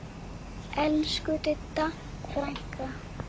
Elsku Didda frænka.